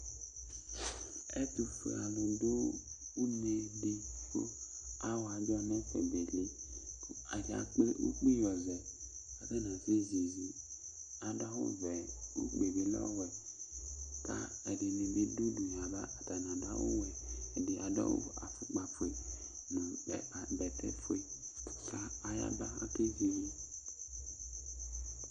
Ɛtʋfue alʋ du une di kʋ awɔ adzɔ n'ɛfɛ beli kʋ ayakple ukpl yɔ zɛ k'atani asɛ zi iizi Adʋ awʋ vɛ, ukpi yɛ bi l'ɔwɛ ka ɛdini bi dʋ udu yaba, atani adʋ awʋ wɛ, ɛdini adʋ awʋ, afʋkpa fue nʋ ɛ bɛtɛ fue k'a ayaba Ak'ezi iizi